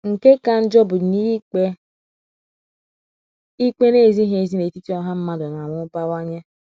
Nke ka njọ bụ na ikpe ikpe na - ezighị ezi n’etiti ọha mmadụ na - amụbawanye.